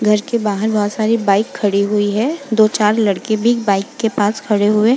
घर के बाहर बहोत सारी बाइक खड़ी हुई हैं। दो चार लड़के भी बाइक के पास खड़े हुए --